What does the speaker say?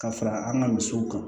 Ka fara an ka misiw kan